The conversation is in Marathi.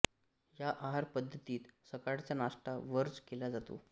या आहार पद्धतीत सकाळचा नाश्ता वर्ज केला जातो